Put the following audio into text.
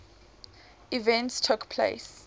events took place